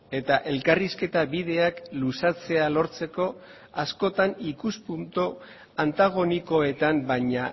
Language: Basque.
eta elkarrizketa bideak luzatzea lortzeko askotan ikuspuntu antagonikoetan baina